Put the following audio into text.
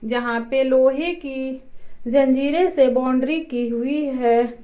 जहां पे लोहे की जंजीरे से बाउंड्री की हुई है।